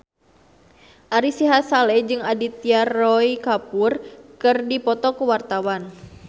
Ari Sihasale jeung Aditya Roy Kapoor keur dipoto ku wartawan